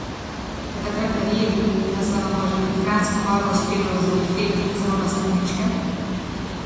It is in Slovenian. Ste takrat verjeli, da se vam bo že pred Kranjsko Goro uspelo zavihteti celo na stopničke?